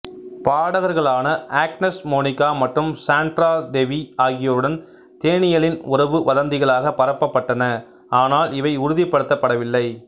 பாடகர்களான Agnes Monica மற்றும் Sandra Devi ஆகியோருடன் தேனியலின் உறவு வதந்திகளாக பரப்பப்பட்டன ஆனால் இவை உறுதிப்படுத்தப்படவில்லை